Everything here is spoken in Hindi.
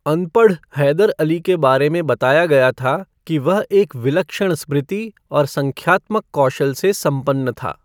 अनपढ़ हैदर अली के बारे में बताया गया था कि वह एक विलक्षण स्मृति और संख्यात्मक कौशल से संपन्न था।